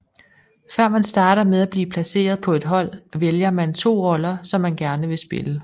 Før man starter med ay blive placeret på et hold vælger man 2 roller som man gerne vil spille